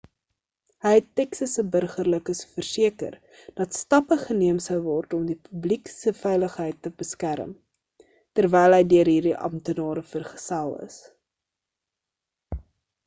hy het texas se burgerlikes verseker dat stappe geneem sou word om die publiek se veiligheid te beskerm terwyl hy deur hierdie amptenare vergesel is